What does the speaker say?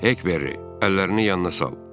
Həkberri, əllərini yanına sal.